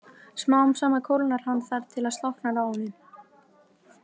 Smám saman kólnar hann þar til það slokknar á honum.